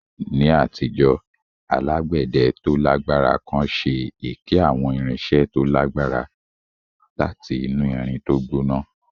Ní àtijọ́, alágbẹ̀dẹ tó lágbára kan ṣe èké àwọn irinṣẹ́ tó lágbára láti inú irin tó gbóná